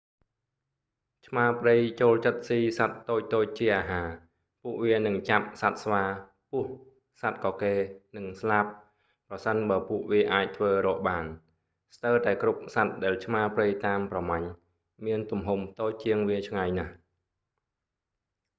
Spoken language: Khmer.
ឆ្មាព្រៃចូលចិត្តស៊ីសត្វតូចៗជាអាហារ ពួកវានឹងចាប់សត្វស្វា ពស់ សត្វកកេរ និងស្លាប ប្រសិនបើពួកវាអាចធ្វើរកបាន ស្ទើរតែគ្រប់សត្វដែលឆ្មាព្រៃតាមប្រម៉ាញ់ មានទំហំតូចជាងវាឆ្ងាយណាស់